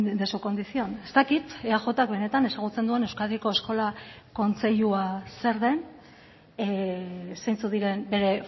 de su condición ez dakit eajk benetan ezagutzen duen euskadiko eskola kontseilua zer den zeintzuk diren bere